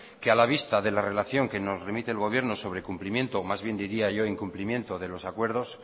que a la vista de la relación que nos remite el gobierno sobre cumplimiento o más bien diría yo incumplimiento de los acuerdos